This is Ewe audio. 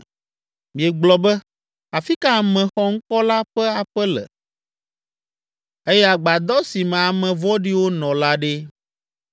Miegblɔ be, ‘Afi ka ame xɔŋkɔ la ƒe aƒe le eye agbadɔ si me ame vɔ̃ɖiwo nɔ la ɖe?’